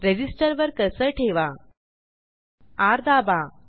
resistor वर cursor ठेवा र दाबा